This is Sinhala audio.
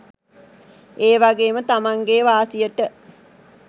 ඒ වගේම තමන්ගේ වාසියට